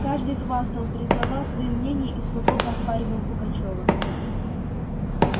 каждый хвастал предлагал свои мнения и свободно оспоривал пугачёва